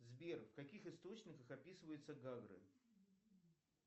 сбер в каких источниках описываются гагры